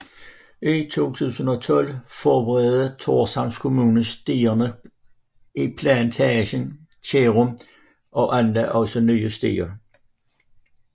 I 2012 forbedrede Thorshavns Kommune stierne i plantagen i Kerjum og anlagde også nye stier